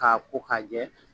K'a ko ka jɛ